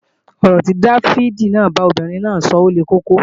Ọ̀rọ̀ tí Dáfídì bá obìnrin náà sọ le koko